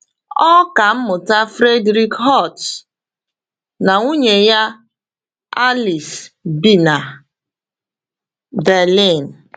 Ọkà mmụta Friedrich Holtz na nwunye ya Alice bi na Berlin.